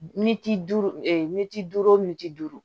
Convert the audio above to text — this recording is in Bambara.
duuru militi duuru mitiri